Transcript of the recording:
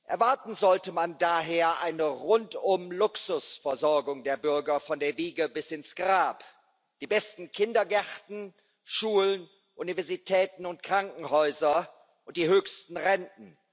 Erwarten sollte man daher eine Rundum Luxusversorgung der Bürger von der Wiege bis ins Grab die besten Kindergärten, Schulen, Universitäten und Krankenhäuser und die höchsten Renten.